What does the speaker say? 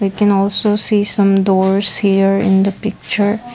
we can also see some doors here in the picture.